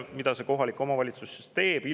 Mida kohalik omavalitsus selle peale teeb?